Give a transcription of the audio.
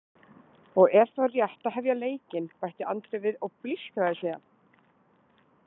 Og er þá rétt að hefja leikinn, bætti Andri við og blístraði síðan.